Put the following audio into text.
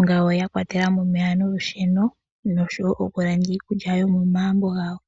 ngawo yakwatela mo omeya nolusheno noshowo okulanda iikulya yomomagumbo gawo.